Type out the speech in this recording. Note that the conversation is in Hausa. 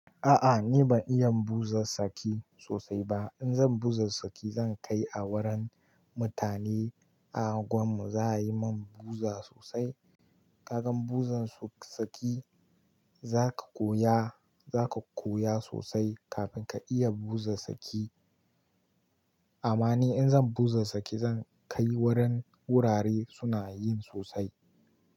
A a ni ban iya buza saki sosai ba. In zan buza saki zan kai a wurin mutane a unguwar mu za a yi min buza sosai. Ka gan buzan saki za ka koya, za ka koya sosai kafin ka iya buza saki. Amma ni in zan buza saki zan kai wurin wurare suna yin sosai.